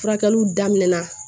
Furakɛliw daminɛna